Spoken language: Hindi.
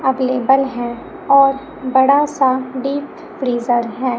अवेलेबल हैं और बड़ा सा डीप फ्रीजर है।